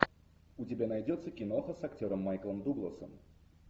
у тебя найдется киноха с актером майклом дугласом